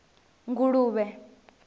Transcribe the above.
nguluvhe